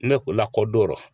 Ne ko lakɔdon